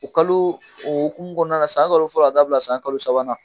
O kaloo o hokumu kɔnɔna na san kalo fɔlɔ ka taa bila san kalo sabanan